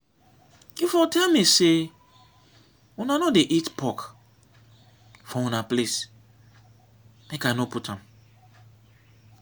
you for tell me say una no dey eat pork for una place make i no put am